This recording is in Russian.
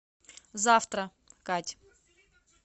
завтра кать